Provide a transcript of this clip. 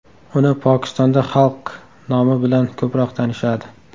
Uni Pokistonda Xalk nomi bilan ko‘proq tanishadi.